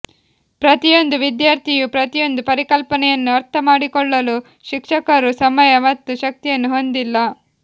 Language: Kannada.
ಪ್ರತಿಯೊಂದು ವಿದ್ಯಾರ್ಥಿಯು ಪ್ರತಿಯೊಂದು ಪರಿಕಲ್ಪನೆಯನ್ನು ಅರ್ಥಮಾಡಿಕೊಳ್ಳಲು ಶಿಕ್ಷಕರು ಸಮಯ ಮತ್ತು ಶಕ್ತಿಯನ್ನು ಹೊಂದಿಲ್ಲ